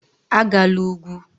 Agala ugwu.